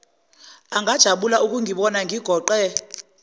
angajabula ukungibona ngigoqe